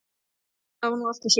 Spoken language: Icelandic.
Það var nú allt og sumt.